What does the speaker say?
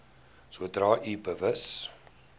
sodra u bewus